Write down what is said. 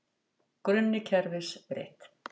Grunni kerfis breytt